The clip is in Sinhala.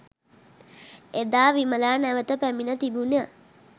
එදා විමලා නැවත පැමිණ තිබුණ